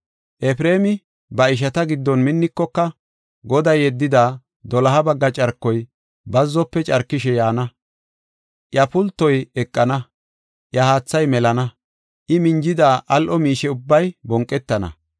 Efreemi ba ishata giddon minnikoka, Goday yeddida doloha bagga carkoy bazzofe carkishe yaana; iya pultoy eqana; iya haathay melana. I minjida al7o miishe ubbay bonqetana.